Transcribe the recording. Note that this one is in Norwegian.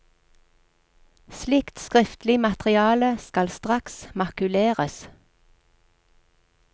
Slikt skriftlig materiale skal straks makuleres.